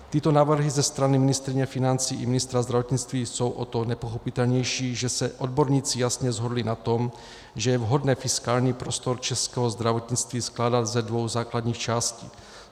Tyto návrhy ze strany ministryně financí i ministra zdravotnictví jsou o to nepochopitelnější, že se odborníci jasně shodli na tom, že je vhodné fiskální prostor českého zdravotnictví skládat ze dvou základních částí.